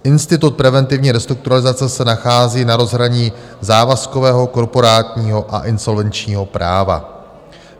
Institut preventivní restrukturalizace se nachází na rozhraní závazkového, korporátního a insolvenčního práva.